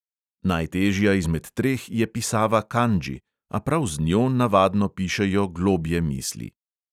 Najtežja izmed treh je pisava kandži, a prav z njo navadno pišejo globje misli.